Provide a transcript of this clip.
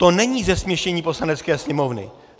To není zesměšnění Poslanecké sněmovny.